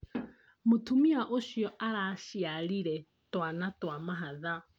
Mũtumia ũcio araciarire twana twa mahatha